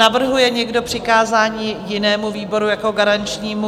Navrhuje někdo přikázání jinému výboru jako garančnímu?